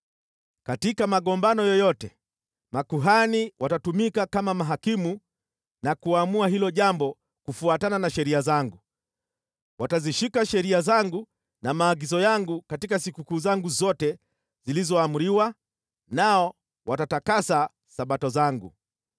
“ ‘Katika magombano yoyote, makuhani watatumika kama mahakimu na kuamua hilo jambo kufuatana na sheria zangu. Watazishika sheria zangu na maagizo yangu katika sikukuu zangu zote zilizoamriwa, nao watatakasa Sabato zangu.